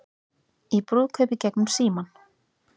Í brúðkaupi gegnum símann